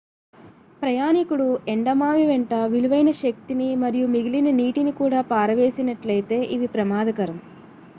ప్రయాణీకుడు ఎండమావివెంట విలువైన శక్తిని మరియు మిగిలిన నీటిని కూడా పారవేసినట్లయితే ఇవి ప్రమాదకరం